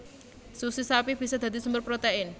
Susu sapi bisa dadi sumber protein